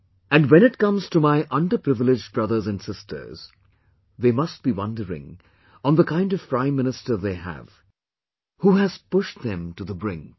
And when it comes to my underprivileged brothers and sisters, they must be wondering on the kind of Prime Minister they have, who has pushed them to the brink